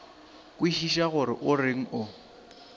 kwešiše gore o reng o